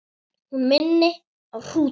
Hún minni á hrúta.